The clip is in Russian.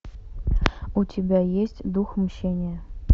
у тебя есть дух мщения